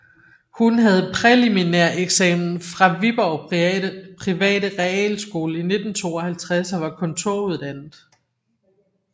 Hun havde præliminæreksamen fra Viborg Private Realskole i 1952 og var kontoruddannet